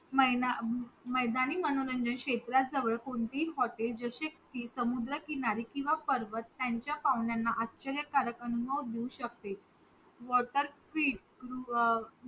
बर मैदानी मनोरंजन क्षेत्राजवळ कोणतीही हॉटेल जसे कि समुद्र किनारी किंवा पर्वत त्यांच्या पाहुण्याला आश्यर्य कारण अनुभव देऊ शेकते waterfall